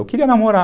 Eu queria namorar.